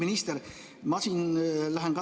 Austatud minister!